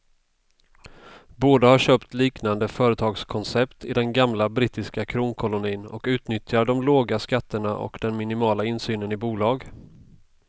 Båda har köpt liknande företagskoncept i den gamla brittiska kronkolonin och utnyttjar de låga skatterna och den minimala insynen i bolag.